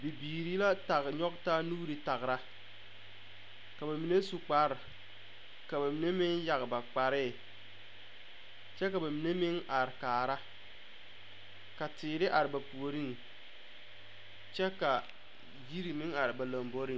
Bibiiri la tag nyɔge taa nuure tagra ka ba mine su kpare ka ba mine meŋ yagre ba kpare kyɛ ka ba mine meŋ are kaara ka teere are ba puoriŋ kyɛ ka yiri meŋ are ba lomboreŋ.